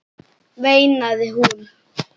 veinaði hún.